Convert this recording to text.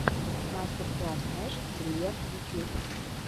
мастер класс нэш гриер ютьюб